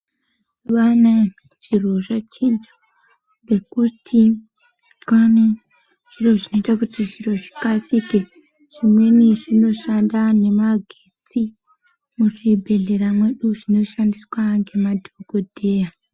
Mazuwa anaya zviro zvachinja ngekuti kwaane zviro zvinoita kuti zviro zvikasike. Zvimweni zvinoshanda nemagetsi muzvibhedhlera mwedu zvinoshandiswa ngemadhokodheya.